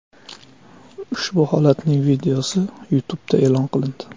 Ushbu holatning videosi YouTube’da e’lon qilindi .